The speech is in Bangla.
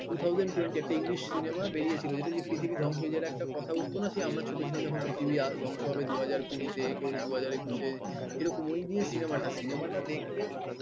two thousand twenty তে english cinema বেড়িয়েছিল যেটা যে পৃথিবী ধ্বংস হয়ে যাওয়ার একটা কথা উঠত না সেই আমরা ছোট ছিলাম যখন পৃথিবী ধ্বংস হবে দু হাজার কুড়ি তে কেউ বলছে দু হাজার একুশে এরকম ওই নিয়ে সিনেমা টা দেখে মানে